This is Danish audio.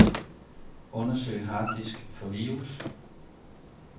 Undersøg harddisk for virus.